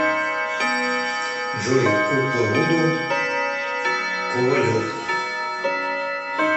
джой кукла вуду ковалев